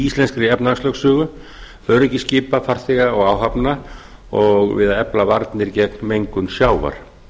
íslenskri efnahagslögsögu öryggi skipa farþega og áhafna og við að efla varnir gegn mengun sjávar